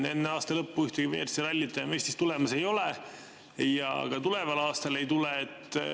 Enne aasta lõppu ühtegi WRC rallit enam Eestis tulemas ei ole ja ka tuleval aastal ei tule.